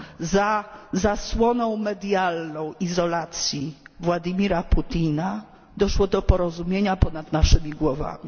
Za zasłoną medialną izolacji Władimira Putina doszło do porozumienia ponad naszymi głowami.